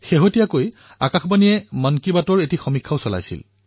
অলপতে আকাশবাণীয়ে মন কী বাতৰ ওপৰত এক সৰ্বেক্ষণ চলাইছিল